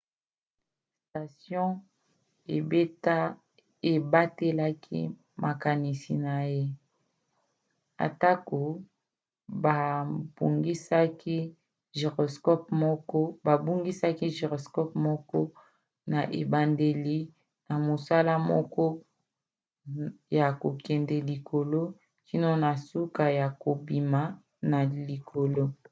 station ebatelaki makanisi na ye atako babungisaki gyroscope moko na ebandeli na mosala moko ya kokende likolo kino na suka ya kobima na likolo